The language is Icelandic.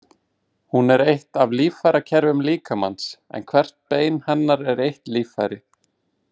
Hún er eitt af líffærakerfum líkamans, en hvert bein hennar er eitt líffæri.